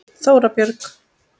Þóra Björg.